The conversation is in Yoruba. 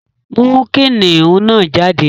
Mú kìnnìún náà jáde!